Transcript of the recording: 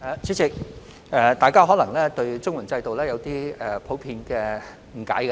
主席，大家對綜援制度可能普遍有點誤解。